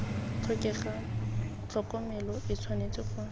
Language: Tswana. tlhokega tlhokomelo e tshwanetse go